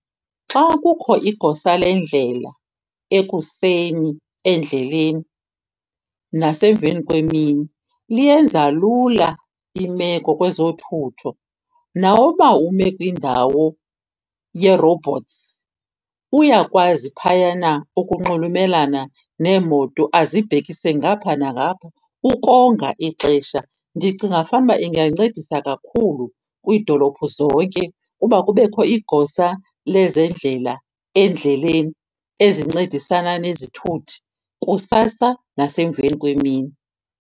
Xa kukho igosa lendlela ekuseni endleleni nasemveni kwemini liyenza lula imeko kwezothutho. Nawuba ume kwindawo yee-robots, uyakwazi phayana ukunxulumelana neemoto azibhekise ngapha nangapha ukonga ixesha. Ndicinga fanuba ingancedisa kakhulu kwiidolophu zonke uba kubekho igosa lezendlela endleleni ezincedisana nezithuthi kusasa nasemveni kwemini.